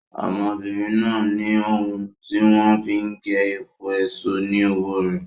ọmọbìnrin náà ní ohun tí wọ́n fi n ge epo èso ni ọwọ́ rẹ̀.